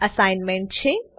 assignment છે